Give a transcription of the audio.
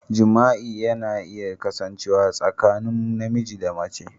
Jima'i na iya kasancewa tsakanin namiji da mace.